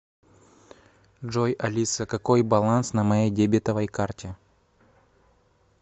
джой алиса какой баланс на моей дебетовой карте